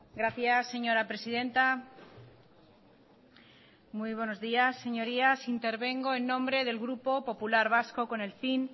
gracias señora presidenta muy buenos días señorías intervengo en nombre del grupo popular vasco con el fin